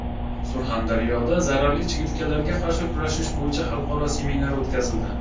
Surxondaryoda zararli chigirtkalarga qarshi kurashish bo‘yicha xalqaro seminar o‘tkazildi.